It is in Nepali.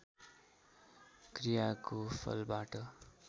क्रियाको फलबाट